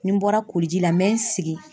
Ni n bɔra koli ji la n bɛ n sigi.